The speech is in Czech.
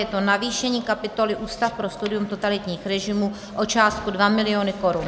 Je to navýšení kapitoly Ústav pro studium totalitních režimů o částku 2 mil. korun.